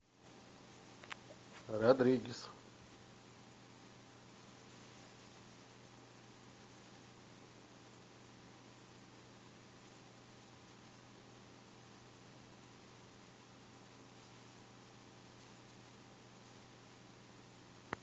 родригес